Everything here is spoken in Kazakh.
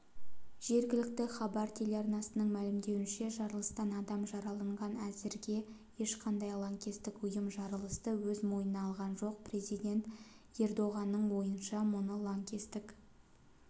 жергілікті хабер телеарнасының мәлімдеуінше жарылыстан адам жараланған әзірге ешқандай лаңкестік ұйым жарылысты өз мойнына алған жоқ президент ердоғанның ойынша мұны лаңкестік